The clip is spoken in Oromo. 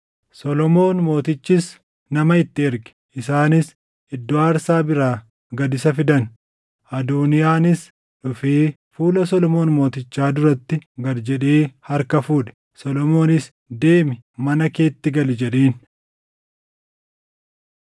Solomoon mootichis nama itti erge; isaanis iddoo aarsaa biraa gad isa fidan. Adooniyaanis dhufee fuula Solomoon mootichaa duratti gad jedhee harka fuudhe; Solomoonis, “Deemi, mana keetti gali” jedheen.